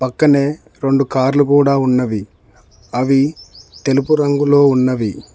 పక్కనే రెండు కార్లు కూడా ఉన్నవి అవి తెలుపు రంగులో ఉన్నవి.